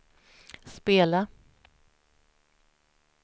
spela